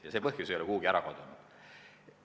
Ja see põhjus ei ole kuhugi kadunud.